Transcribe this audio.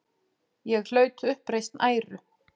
Ég hlaut uppreisn æru.